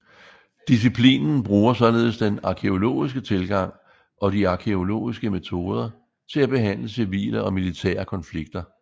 Disciplinen bruger således den arkæologiske tilgang og de arkæologiske metoder til at behandle civile og militære konflikter